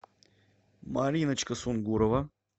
мариночка сунгурова